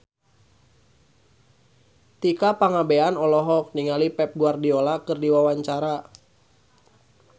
Tika Pangabean olohok ningali Pep Guardiola keur diwawancara